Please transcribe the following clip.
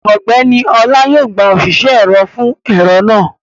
Ọgbẹ́ni Ọlá yóò gba òṣìṣẹ́ ẹ̀rọ fún ẹ̀rọ náà